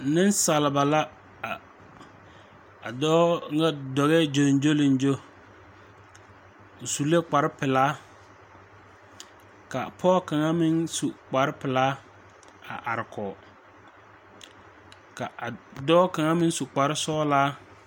Neŋsaleba la a a dɔɔ ŋa dɔgɛɛ gyoŋgyoliŋgyo o su la kparepelaa ka pɔɔ kaŋa meŋ su kparepelaa a are kɔge ka a dɔɔ kaŋa meŋ su kparesɔglaa.